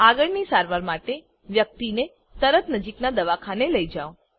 આગળની સારવાર માટે વ્યક્તિને તરત નજીકનાં દવાખાને લઇ જાવ